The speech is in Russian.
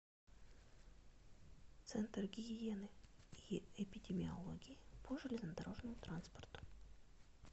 центр гигиены и эпидемиологии по железнодорожному транспорту